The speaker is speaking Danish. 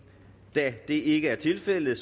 da det ikke er tilfældet